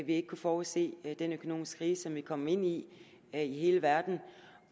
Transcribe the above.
ikke kunne forudse den økonomiske krise som vi er kommet ind i i hele verden